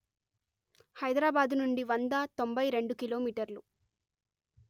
హైదరాబాదు నుండి వంద తొంభై రెండు కిలో మీటర్లు